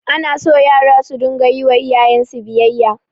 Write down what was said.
Anaso yara su dinga yiwa iyayensu biyayya